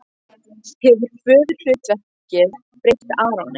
Hefur föðurhlutverkið breytt Aroni?